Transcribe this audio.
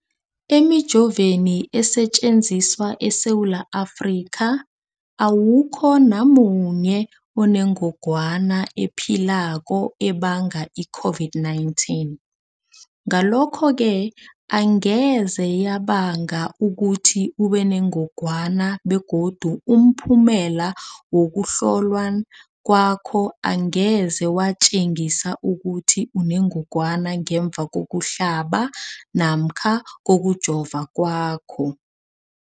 Emijoveni esetjenziswa eSewula Afrika, awukho namunye onengog wana ephilako ebanga i-COVID-19. Ngalokho-ke angeze yabanga ukuthi ubenengogwana begodu umphumela wokuhlolwan kwakho angeze watjengisa ukuthi unengogwana ngemva kokuhlaba namkha kokujova kwakho.